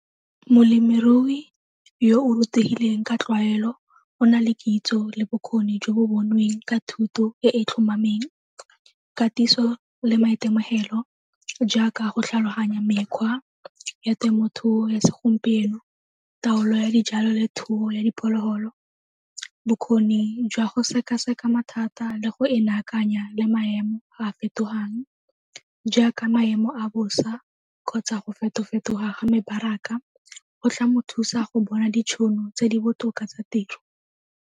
Molemirui yo o rutegileng ka tlwaelo o na le kitso le bokgoni jo bo bonweng ka thuto e e tlhomameng. Katiso le maitemogelo jaaka go tlhaloganya mekgwa ya temothuo ya segompieno, taolo ya dijalo le thuo ya diphologolo, bokgoni jwa go sekaseka mathata le go e lakanya le maemo a fetogang jaaka maemo a bosa kgotsa go feto-fetoga ga mebaraka go tla mo thusa go bona ditšhono tse di botoka tsa tiro.